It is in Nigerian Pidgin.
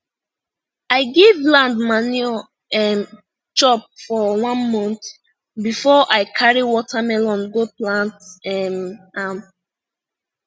i give land manure um chop for one month before i carry watermelon go plant um am